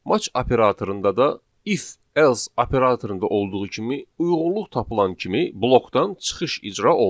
Match operatorunda da if else operatorunda olduğu kimi uyğunluq tapılan kimi blokdan çıxış icra olunur.